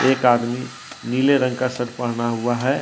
एक आदमी नीले रंग का शर्ट पहना हुआ है।